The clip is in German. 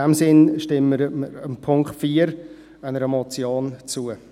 In diesem Sinn stimmen wir dem Punkt 4 der Motion zu.